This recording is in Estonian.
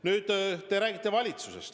Nüüd, te räägite valitsusest.